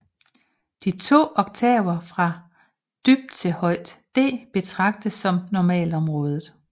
De to oktaver fra dybt til højt D betragtes som normalområdet